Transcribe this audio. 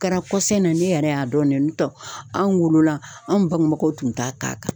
Kɛra kɔsɔbɛ ne yɛrɛ y'a dɔn ne n'o tɛ anw wolola anw bangebaw tun t'a k'a kan.